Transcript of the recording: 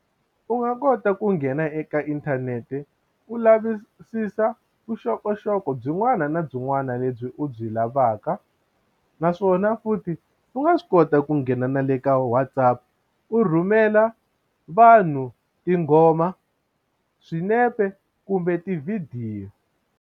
U nga kota ku nghena eka inthanete u lavisisa vuxokoxoko byin'wana na byin'wana lebyi u byi lavaka naswona futhi u nga swi kota u ku nghena na le ka Whatsapp u rhumela vanhu tinghoma swinepe kumbe tivhidiyo.